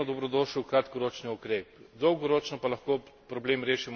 Direktna finančna pomoč bo izjemno dobrodošel kratkoročni ukrep.